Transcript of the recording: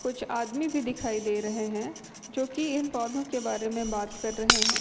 कुछ आदमी भी दिखाई दे रहे हैं जो की इन पौधों के बारे में बात कर रहे हैं।